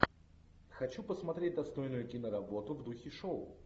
хочу посмотреть достойную киноработу в духе шоу